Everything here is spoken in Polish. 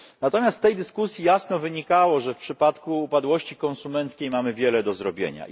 Natomiast z tej dyskusji jasno wynikało, że w przypadku upadłości konsumenckiej mamy wiele do zrobienia.